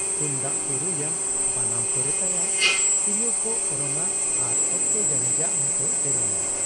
ᱛᱩᱢᱫᱟᱜ ᱠᱚ ᱨᱩᱭᱟ ᱵᱟᱱᱟᱢ ᱠᱚ ᱨᱮᱛᱟᱭᱟ, ᱛᱤᱨᱭᱳᱣ ᱠᱚ ᱚᱨᱚᱝ ᱟ ᱟᱨ ᱚᱠᱛᱚ ᱡᱟᱹᱱᱤᱡᱟᱜ ᱦᱚᱸᱠᱚ ᱥᱮᱨᱮᱧᱟ ᱾